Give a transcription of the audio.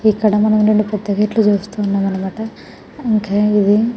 ఇక్కడ మనము రెండు పేద గేట్స్ చుస్తునము అన్న మాట ఇంకా ఇది --